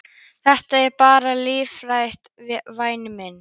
Þetta er bara líffræðilegt, væni minn.